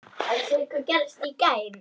Ég bjó þar eitt sumar.